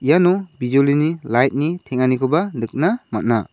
iano bijolini lait ni teng·anikoba nikna man·a.